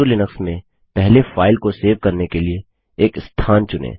Ubuntu Linux में पहले file को सेव करने के लिए एक स्थान चुनें